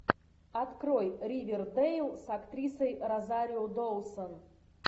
открой ривердейл с актрисой розарио доусон